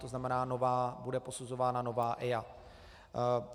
To znamená, bude posuzována nová EIA.